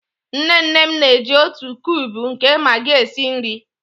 Nne nne m na-eji naanị otu kube nke Magi esi nri.